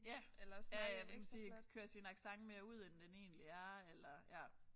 Ja. Ja ja måske kører sin accent mere ud end den egentlig er eller ja